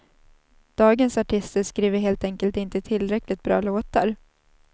Dagens artister skriver helt enkelt inte tillräckligt bra låtar.